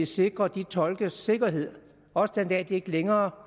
sikre de tolkes sikkerhed også den dag de ikke længere